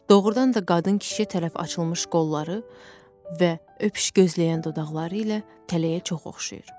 Doğrudan da qadın kişiyə tərəf açılmış qolları və öpüş gözləyən dodaqları ilə tələyə çox oxşayır.